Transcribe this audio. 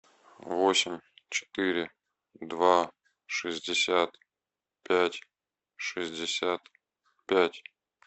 восемь четыре два шестьдесят пять шестьдесят пять